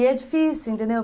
E é difícil, entendeu?